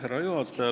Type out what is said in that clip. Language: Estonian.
Härra juhataja!